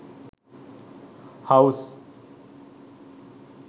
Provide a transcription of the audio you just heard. house